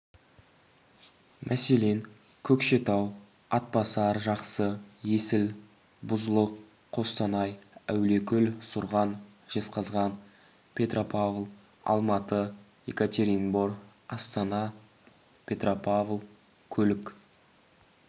мәселен көкшетау атбасар жақсы есіл бұзұлұқ қостанай әулиекөл сұрған жезқазған петропавл алматы екатеринбор астана петропавл көлік